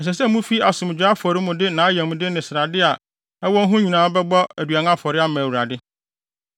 Ɛsɛ sɛ mufi asomdwoe afɔre mu de nʼayamde ne srade a ɛwɔ ho nyinaa bɛbɔ aduan afɔre ma Awurade,